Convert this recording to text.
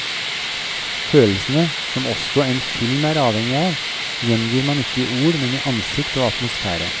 Følelsene, som også en film er avhengig av, gjengir man ikke i ord, men i ansikt og atmosfære.